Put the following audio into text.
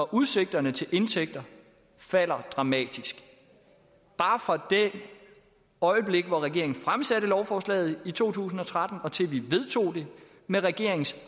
udsigterne til indtægter falder dramatisk bare fra det øjeblik regeringen fremsatte lovforslaget i to tusind og tretten og til vi vedtog det med regeringens